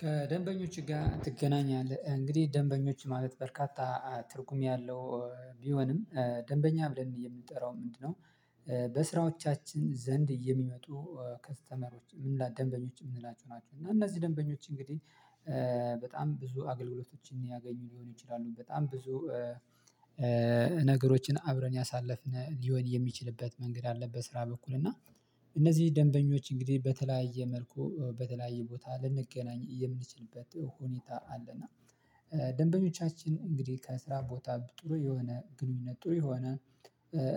ከደንበኞች ጋር ትገናኛለህ እንግዲህ ደንበኞች ማለት በርካታ ትርጉም ያለው ቢሆንም ደንበኛ ብለን የምንጠራው ምንድነው? በስራዎቻችን ዘንድ የሚመጡ ከስተመሮች ምን ላይ ደንበኞች የምንላቸው ናቸው? እና እነዚህ ደንበኞች እንግዲህ በጣም ብዙ አገልግሎቶችን ያገኙ ሊሆኑ ይችላሉ በጣም ብዙ ነገሮችን አብረን ያሳለፍን ሊሆን የሚችልበት መንገድ አለ። በስራ በኩል እና እነዚህ ደንበኞች እንግዲህ በተለያየ መልኩ በተለያየ ቦታ ልንገናኝ የምንችልበት ሁኔታ አለ። ደንበኞቻችን እንግዲህ ከስራ ቦታ ጥሩ የሆነ ግንኙነት ጥሩ የሆነ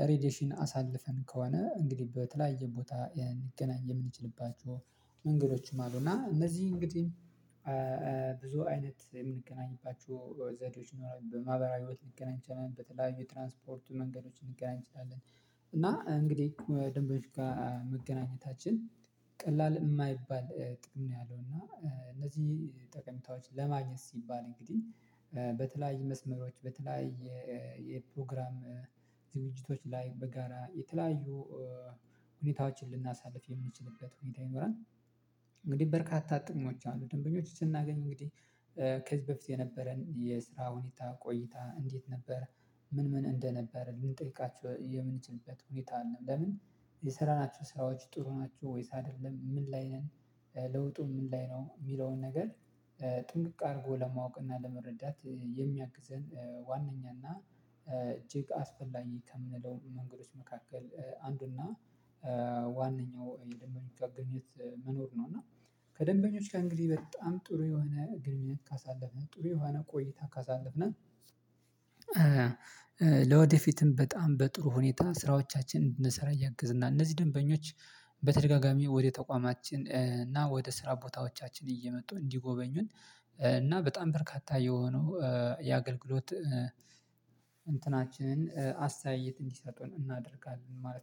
ሬዲሽን አሳልፈን ከሆነ እንግዲህ በተለያየ ቦታ ልንገናኝ የምንችልባቸው መንገዶችም አሉ። እና እነዚህ እንግዲህ ብዙ አይነት የምንገናኝባችው ዘዴዎች ይኖራሉ በማህበራዊ ህይወት ልንገናኝ እንችላለን በተለያዩ ትራንስፖርቱ መንገዶችን እንገናኝ እንችላለን። እና እንግዲህ ደንበኞች ጋር መገናኘታችን ቀላል የማይባል ጥቅም ነው ያለው እና እነዚህ ጠቀሜታዎች ለማግኘት ሲባል እንግዲህ በተለያዩ መስመሮች በተለያዩ የፕሮግራም ዝግጅቶች ላይ በጋራ የተለያዩ ሁኔታዎችን ልናሳልፍ የምንችልበት ሁኔታ ይኖራል። እንግዲህ በርካታ ጥቅሞች አሉ ደንበኞች ስናገኝ እንግዲህ ከዚህ በፊት የነበረን የስራ ሁኔታ ቆይታ እንዴት ነበር? ምን ምን እንደነበር ልንጠይቃችሁ የምንችልበት ሁኔታ አለን በምን የሰራናቸው ሰራዎች ጥሩ ናቸው ወይስ አይደለም? ምን ላይ ነን ለውጡ ምን ላይ ነው? የሚለውን ነገር ጥንቅቅ አድርጎ ለማወቅ ለመረዳት የሚያግዘን ዋናኛና እጅግ አስፈላጊ ከምንለው መንገዶች መካከል አንዱና ዋነኛው የደንበኞች አገልግሎት መኖር ነው። እና ከደንበኞች እንግዲህ በጣም ጥሩ የሆነ ግንኙነት ካሳለፍን ጥሩ የሆነ ቆይታ ካሳለፍን ለወደፊትም በጣም በጥሩ ሁኔታ ስራዎቻችንን እንድንሰራ ያገዝናል። እነዚህ ደንበኞች በተደጋጋሚ ወደ ተቋማችን እና ወደ ስራ ቦታዎቻችን እየመጡ እንዲጎበኙን እና በጣም በርካታ የሆነው የአገልግሎት እንትናችንን አስተያየት እንዲሰጡን እናደርጋለን ማለት